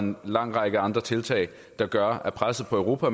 en lang række andre tiltag der gør at presset på europa